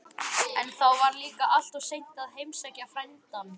En þá var líka alltof seint að heimsækja frændann.